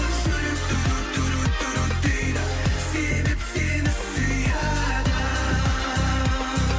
жүрек дейді себеп сені сүйеді